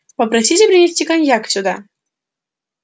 попросите принести коньяк сюда